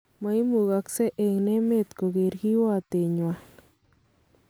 Moimukoksek eng emet koker kiwotwet nywan.